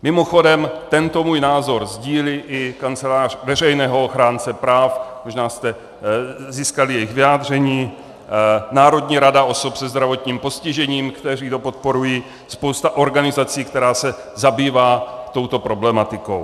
Mimochodem tento můj názor sdílí i Kancelář veřejného ochránce práv - možná jste získali jejich vyjádření, Národní rada osob se zdravotním postižením, která to podporuje, spousta organizací, která se zabývá touto problematikou.